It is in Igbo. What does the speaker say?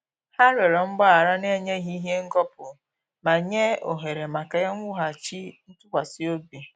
Ha rịọrọ mgbaghara na-enyeghi ihe ngọpu ma nye ohere maka iwughachi ntụkwasịobi